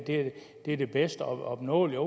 det er det bedst opnåelige og